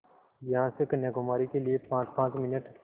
यहाँ से कन्याकुमारी के लिए पाँचपाँच मिनट